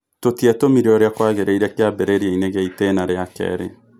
Tũtietũmire ũrĩ a kwagĩ rĩ ire kĩ ambĩ rĩ riainĩ gĩ a itĩ na rĩ a kerĩ .